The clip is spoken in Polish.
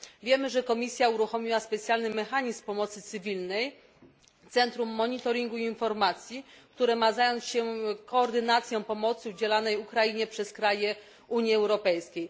Wiemy, że Komisja uruchomiła specjalny mechanizm pomocy cywilnej, centrum monitoringu i informacji, które ma zająć się koordynacją pomocy udzielanej Ukrainie przez kraje Unii Europejskiej.